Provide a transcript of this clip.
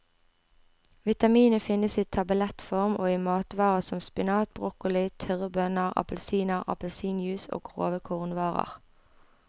Vitaminet finnes i tablettform og i matvarer som spinat, broccoli, tørre bønner, appelsiner, appelsinjuice og grove kornvarer.